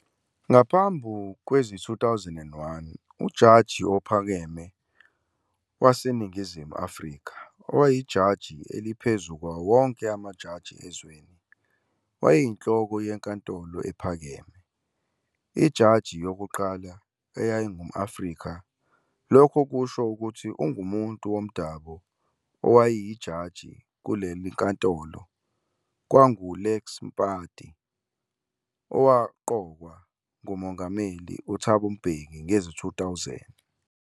Ngaphambili kwezi-2001, uJaji Ophakeme waseNingizimu Afrika, owayijaji eliphezulu kwawonke amajaji ezweni, wayeyinhloko yeNkantolo Ephakeme. Ijaji yokuqala eyayingum-Afrika lokho kusho ukuthi ungumuntu womdabo owayijaji kulelinkantolo kwakungu-Lex Mpati owaqokwa nguMongameli Thabo Mbeki ngezi-2000.